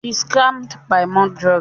She screamed "Buy more drug"